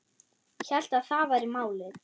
Hélt að það væri málið.